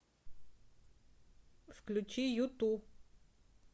включи юту